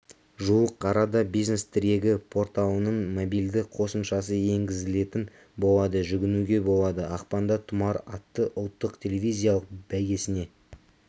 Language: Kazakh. жуық арада бизнес-тірегі порталының мобильді қосымшасы енгізілетін болады жүгінуге болады ақпанда тұмар атты ұлттық телевизиялық бәйгесіне